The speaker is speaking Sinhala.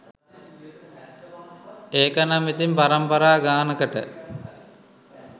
ඒකනම් ඉතින් පරම්පරා ගානකට